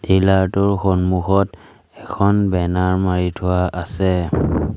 Dealer টোৰ সন্মুখত এখন বেনাৰ মাৰি থোৱা আছে।